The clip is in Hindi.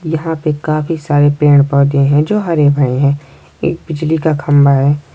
यहाँ पे काफी सारे पेड़ पौधे हैं जो हरे भरे हैं एक बिजली का खंबा है।